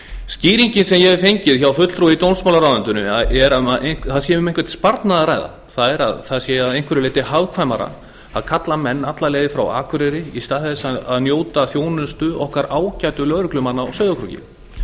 skýringin sem ég hef fengið hjá fulltrúa í dómsmálaráðuneytinu er að um einhvern sparnað sé að ræða það er að það sé að einhverju leyti hagkvæmara að kalla menn alla leið frá akureyri í stað þess að nýta þjónustu okkar ágætu lögreglumanna á sauðárkróki